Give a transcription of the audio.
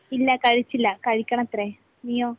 ഇല്ല.കഴിച്ചില്ല. കഴിക്കണത്രെ. നീയോ?